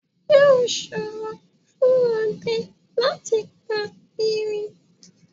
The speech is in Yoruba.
Yóò ṣòro fún ọdẹ láti pa Erin